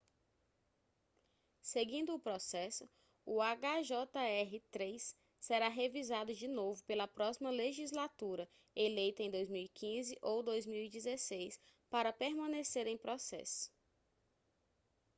seguindo o processo o hjr-3 será revisado de novo pela próxima legislatura eleita em 2015 ou 2016 para permanecer em processo